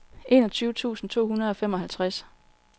enogtyve tusind to hundrede og femoghalvtreds